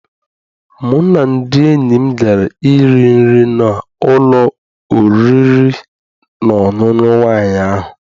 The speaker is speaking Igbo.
Mụ na ndị enyi m gara I ri nri na n'ụlọ oriri na ọṅụṅụ nwaanyị ahụ.